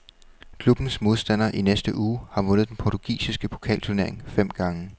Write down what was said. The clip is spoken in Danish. Klubbens modstander i næste uge har vundet den portugisiske pokalturnering fem gange.